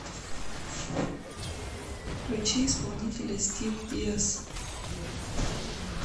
включи исполнителя стив диас